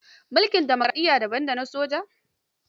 Mulkin dimokaraɗiyya daban da na soja.